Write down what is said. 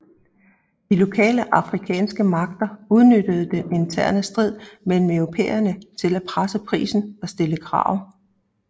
De lokale afrikanske magter udnyttede den interne strid mellem europæerne til at presse prisen og stille krav